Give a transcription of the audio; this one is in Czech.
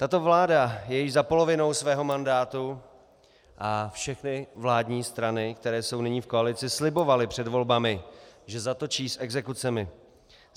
Tato vláda je již za polovinou svého mandátu a všechny vládní strany, které jsou nyní v koalici, slibovaly před volbami, že zatočí s exekucemi.